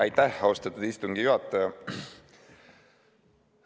Aitäh, austatud istungi juhataja!